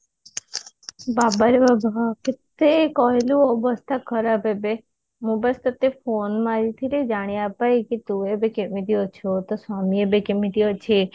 ବାବାରେ ବାବା କେତେ କହିଲୁ ଅବସ୍ଥା ଖରାପ ଏବେ ମୁଁ ବାସ୍ ତୋତେ phone ମରିଥିଲି ଜାଣିବା ପାଇଁ କି ତୁ ଏବେ କେମିତି ଅଛୁ ତୋ ସ୍ଵାମୀ ଏବେ କେମିତି ଅଛି?